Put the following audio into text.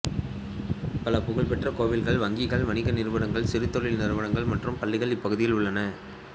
பல புகழ் பெற்ற கோயில்கள் வங்கிகள் வணிக நிறுவனங்கள் சிறு தொழில் நிறுவனங்கள் மற்றும் பள்ளிகள் இப்பகுதியில் உள்ளன